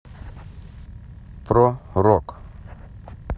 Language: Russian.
про рок